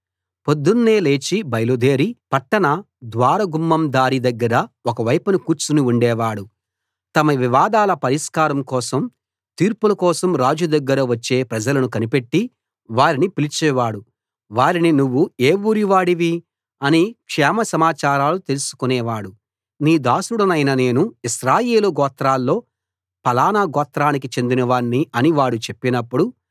పొద్దున్నే లేచి బయలుదేరి పట్టణ ద్వార గుమ్మం దారి దగ్గర ఒకవైపున కూర్చుని ఉండేవాడు తమ వివాదాల పరిష్కారం కోసం తీర్పుల కోసం రాజు దగ్గర వచ్చే ప్రజలను కనిపెట్టి వారిని పిలిచేవాడు వారిని నువ్వు ఏ ఊరివాడివి అని క్షేమ సమాచారాలు తెలుసుకొనేవాడు నీ దాసుడనైన నేను ఇశ్రాయేలు గోత్రాల్లో ఫలానా గోత్రానికి చెందినవాణ్ణి అని వాడు చెప్పినప్పుడు